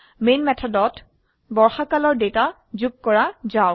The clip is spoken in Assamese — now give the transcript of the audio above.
মেন মেথডত বৰ্ষাকালৰ ডেটা যোগ কৰা যাক